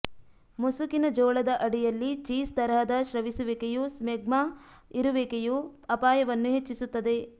ಮುಸುಕಿನ ಜೋಳದ ಅಡಿಯಲ್ಲಿ ಚೀಸ್ ತರಹದ ಸ್ರವಿಸುವಿಕೆಯು ಸ್ಮೆಗ್ಮಾ ಇರುವಿಕೆಯು ಅಪಾಯವನ್ನು ಹೆಚ್ಚಿಸುತ್ತದೆ